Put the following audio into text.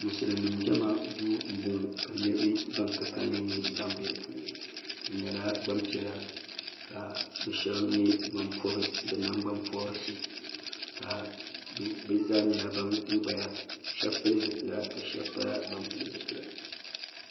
mosilimi nim jama do n bɔŋɔ niriba ban ka kalinli bɛ di puuni be nyɛla gbanpiɛlla ka n be shɛbi nyɛ ban pobi nagbanpɔrigu ka be zaa nyɛla ban gbaya shɛbi pɛli zibila ka shɛb pa ban pɛli zibila